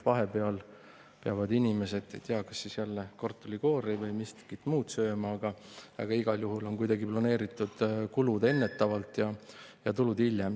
Vahepeal peavad inimesed, ma ei tea, kas siis jälle kartulikoori või miskit muud sööma, aga igal juhul on planeeritud kulud enne ja tulud hiljem.